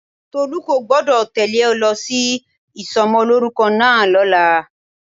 Tolu kò gbọ́dọ̀ tẹ́lẹ̀ ọ lọ sí ìsomolórúkọ náà lọ́la.